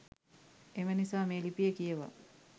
එම නිසා මේ ලිපිය කියවා